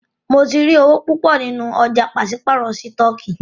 Mó tí rí owó púpọ nínú ọ̀jà pàṣípàrọ̀ sítọ̀kì.